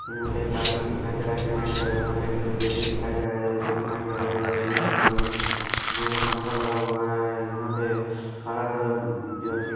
यहाँ पे एक आदमी दिखाई दे रहा है जो मैक धरे हुए यहाँ पे एक लेडीज दिखाई दे रहा है जो भी मैक धरे हुए हैं यहाँ पे प्रोग्राम यहाँ पे पंखा लगा हुआ है यहाँ पे हरा द --